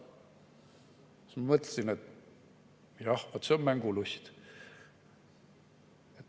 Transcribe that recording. Siis ma mõtlesin, et jah, vaat see on mängulust.